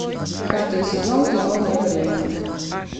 пятый сезон кино вне времени